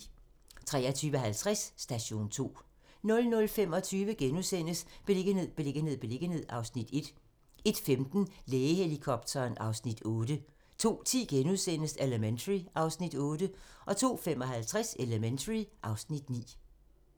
23:50: Station 2 00:25: Beliggenhed, beliggenhed, beliggenhed (Afs. 1)* 01:15: Lægehelikopteren (Afs. 8) 02:10: Elementary (Afs. 8)* 02:55: Elementary (Afs. 9)